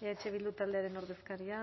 eh bildu taldearen ordezkaria